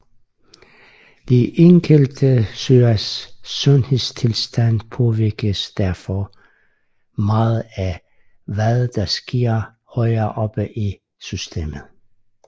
De enkelte søers sundhedstilstand påvirkes derfor meget af hvad der sker højere oppe i systemet